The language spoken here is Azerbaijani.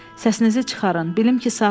Səsinizi çıxarın, bilim ki, sağsız.